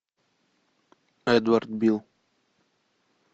эдвард билл